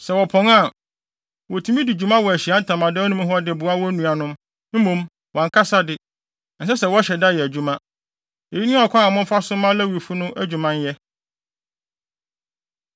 Sɛ wɔpɔn a, wotumi adi dwuma wɔ Ahyiae Ntamadan mu hɔ de boa wɔn nuanom, mmom wɔn ankasa de, ɛnsɛ sɛ wɔhyɛ da yɛ adwuma. Eyi ne ɔkwan a momfa so mma Lewifo no adwuma nyɛ.”